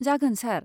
जागोन सार।